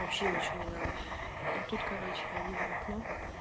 вообще ничего не надо и тут короче я вижу в окно